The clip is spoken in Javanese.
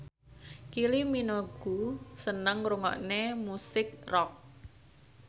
Kylie Minogue seneng ngrungokne musik rock